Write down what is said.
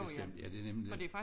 Bestemt ja det nemlig det